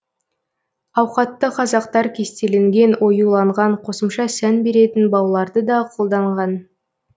ауқатты қазақтар кестеленген оюланған қосымша сән беретін бауларды да қолданған